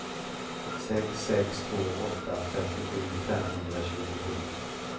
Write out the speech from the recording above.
sex sex två åtta trettiosju femhundratjugosju